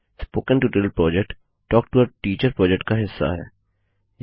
spoken tutorial project talk to a teacher project का हिस्सा है